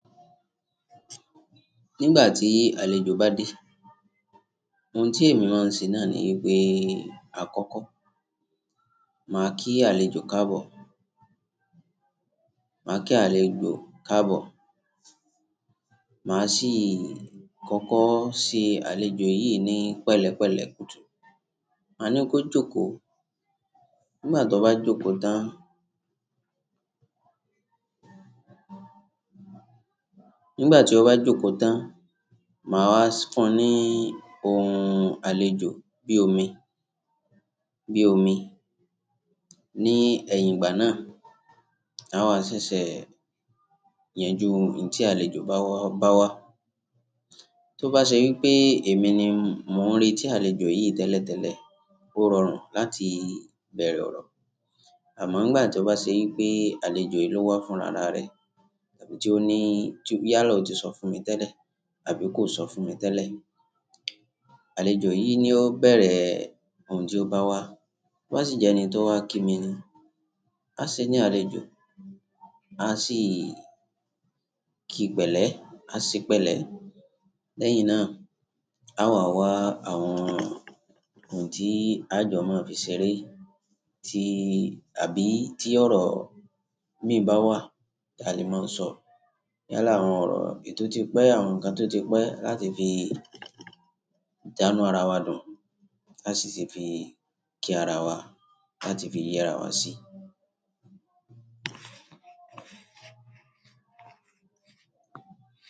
Nígbà tí àlejò bá dé, oun tí èmi máa ń ṣe náà ni ipé àkọ́kọ́. Máa kí àlejò káàbọ̀, máa kí àlejò káàbọ̀, màá sì kọ́kọ́ ṣe àlejò yìí ní pẹ̀lẹ́pẹ̀lẹ́ kùtù. Màá ní kó jókòó, ngbà tó bá jókòó tán, ngbà tí ó bá jókòó tán, màá wá fún un ní ohun àlejò bí omi, bí omi. Ni ẹ̀yìn ìgbà náà, a máa ṣẹ̀ṣẹ̀ yanjú n tí àlejò bá wá bá wá. Tó bá ṣe ípé èmi ni m-- mò ń rètí àlejò yìí tẹ́lẹ̀tẹ́lẹ̀, ó rọrùn láti bẹ̀rẹ̀ ọ̀rọ̀. Àmọ́ ngbà tí ó bá ṣe ípé àlejò yìí ló wá fúnra ara rẹ̀, àbí tí ó ní tí yálà o ti sọ fún mi tẹ́lẹ̀ àbí kò sọ fún mi tẹ́lẹ̀. Àlejò yìí ni ó bẹ̀rẹ̀ ohun tí ó bá wá. Ó sì jẹ ẹni tó wá kí mi ni. A ṣe ní àlejò, a sì kí pẹ̀lẹ́, a ṣe pẹ̀lẹ́. Lẹ́yìn náà, a máa wá àwọn oun tí a jọ máa fi ṣeré tí-- àbí tí ọ̀rọ̀ mi bá wà ta lè máa sọ. Yálà àwọn ọ̀rọ̀ èyí tó ti pẹ́, àwọn nǹkan tó ti pẹ́ láti fi dánu ara wa dùn. A sì ti fi kí ara wa, láti fi yé ara wa sí.